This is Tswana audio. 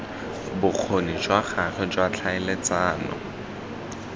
bokgoni jwa gagwe jwa tlhaeletsano